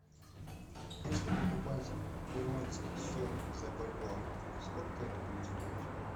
если покупать перуанский соль за бальбоа сколько это будет стоить